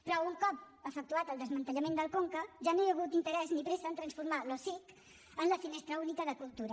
però un cop efectuat el desmantellament del conca ja no hi ha hagut interès ni presa a transformar l’osic en la finestra única de cultura